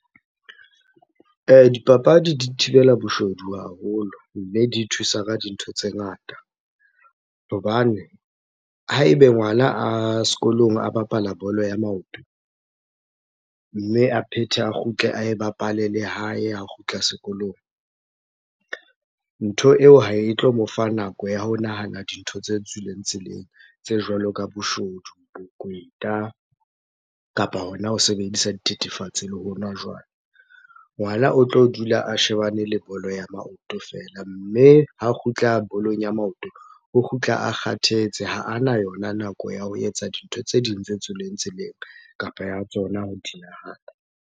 Dipapadi di thibela boshodu haholo, mme di thusa ka dintho tse ngata. Hobane ha ebe ngwana a sekolong a bapala bolo ya maoto, mme a phethe, a kgutle ae bapale le hae ha kgutla sekolong. Ntho eo ha e tlo mo fa nako ya ho nahana dintho tse tswileng tseleng. Tse jwalo ka boshodu, bokweta kapa hona ho sebedisa dithethefatse le ho nwa jwala. Ngwana o tlo dula a shebane le bolo ya maoto fela. Mme ha kgutla bolong ya maoto, o kgutla a kgathetse. Ha a na yona nako ya ho etsa dintho tse ding tse tswileng tseleng kapa ya tsona ho di nahana.